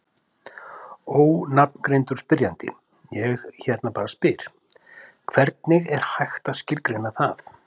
Ónafngreindur spyrjandi: Ég hérna bara spyr: Hvernig er hægt að skilgreina það?